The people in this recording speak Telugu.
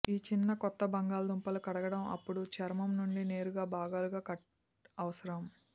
ఈ చిన్న కొత్త బంగాళదుంపలు కడగడం అప్పుడు చర్మం నుండి నేరుగా భాగాలుగా కట్ అవసరం